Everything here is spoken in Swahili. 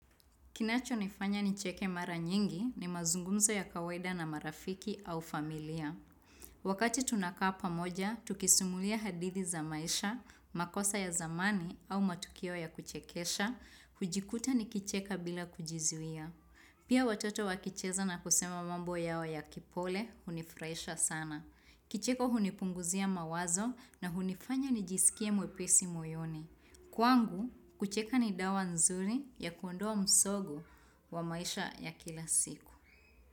Kinacho nifanya nicheke mara nyingi ni mazungumzo ya kawaida na marafiki au familia. Wakati tunaka pamoja, tukisumulia hadithi za maisha, makosa ya zamani au matukio ya kuchekesha, hujikuta ni kicheka bila kujizuia. Pia watoto wakicheza na kusema mambo yao ya kipole, hunifurahisha sana. Kicheko hunipunguzia mawazo na hunifanya nijisikie mwepisi moyoni. Kwangu, kucheka ni dawa nzuri ya kuondoa msogo wa maisha ya kila siku.